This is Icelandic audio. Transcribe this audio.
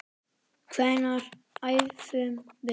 Hvenær æfum við?